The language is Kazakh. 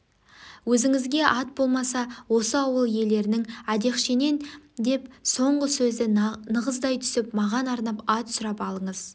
өзіңізде ат болмаса осы ауыл иелерінен әдехшенен деп соңғы сөзді нығыздай түсіп маған арнап ат сұрап алыңыз